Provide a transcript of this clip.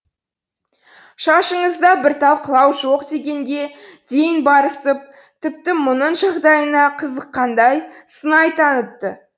шашыңызда бір тал қылау жоқ дегенге дейін барысып тіпті мұның жағдайына қызыққандай сыңай танытты